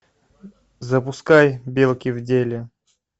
запускай белки в деле